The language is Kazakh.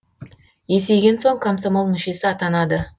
есейген соң комсомол мүшесі атанады